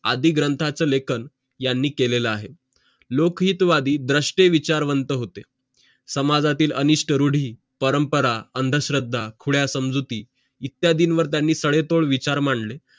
आदी ग्रंथाचं लेखन यांनी केलेलं आहे लोकहितवादी द्रष्टे विचारवंत होते समाजातील अनिष्ट रुडी परमपरा अंधश्रद्धा उद्या समजुती इत्यादीं वर त्यांनी तांडेतोड विचार मांडले